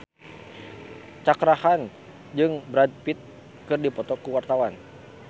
Cakra Khan jeung Brad Pitt keur dipoto ku wartawan